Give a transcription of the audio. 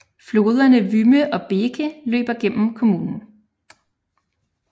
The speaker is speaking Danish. Floderne Wümme og Beeke løber gennem kommunen